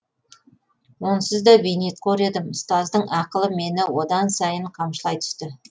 онсыз да бейнетқор едім ұстаздың ақылы мені одан сайын қамшылай түсті